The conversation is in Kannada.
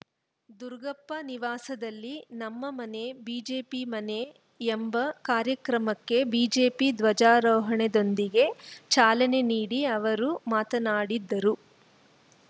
ದುರುಗಪ್ಪ ನಿವಾಸದಲ್ಲಿ ನಮ್ಮ ಮನೆ ಬಿಜೆಪಿ ಮನೆ ಎಂಬ ಕಾರ್ಯಕ್ರಮಕ್ಕೆ ಬಿಜೆಪಿ ಧ್ವಜಾರೋಹಣೆದೊಂದಿಗೆ ಚಾಲನೆ ನೀಡಿ ಅವರು ಮಾತನಾಡಿದರು